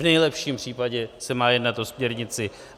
V nejlepším případě se má jednat o směrnici.